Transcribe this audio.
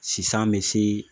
Sisan bɛ se